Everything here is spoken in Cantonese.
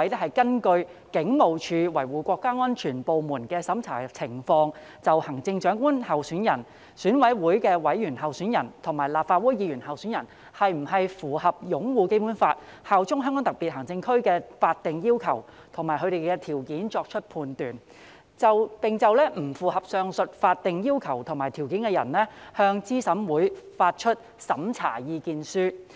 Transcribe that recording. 會是根據警務處維護國家安全部門的審查情況，就行政長官候選人、選委會委員候選人及立法會議員候選人是否符合擁護《基本法》、效忠香港特別行政區的法定要求和條件作出判斷，並就不符合上述法定要求和條件的人，向資審會發出審查意見書。